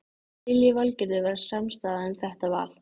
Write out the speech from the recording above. Lillý Valgerður: Var samstaða um þetta val?